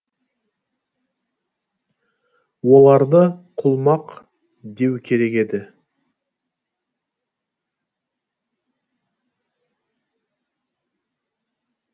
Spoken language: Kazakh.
оларды құлмақ деу керек еді